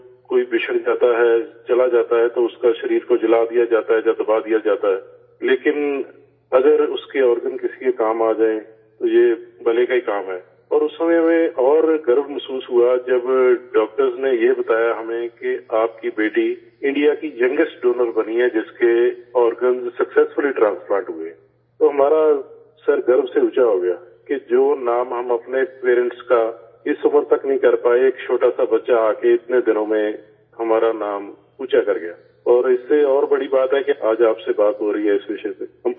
جب کوئی بچھڑ جاتا ہے، چلا جاتا ہے، تو اسک ے جسم کو جلا دیا جاتا ہے یا دبا دیا جاتا ہے، لیکن اگر اس کے آرگن کسی کے کام آ جائیں، تو یہ بھلے کا ہی کام ہے، اور اس وقت ہمیں اور فخر محسوس ہوا، جب ڈاکٹروں نے یہ بتایا ہمیں کہ آپ کی بیٹی، انڈیا کی ینگیسٹ ڈونر بنی ہے، جس کے آرگن کامیابی سے ٹرانس پلانٹ ہوئے، تو ہمارا سر فخر سے اونچا ہو گیا کہ جو نام ہم اپنے والدین کا اس عمر تک نہیں کر پائے، ایک چھوٹا سا بچہ آ کر اتنے دنوں میں ہمارا نام اونچا کر گیا اور اس سے اور بڑی بات ہے کہ آج آپ سے بات ہو رہی ہے اس موضوع پر